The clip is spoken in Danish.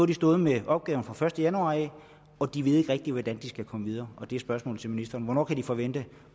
de stået med opgaven fra første januar og de ved ikke rigtig hvordan de skal komme videre spørgsmålet til ministeren er hvornår kan de forvente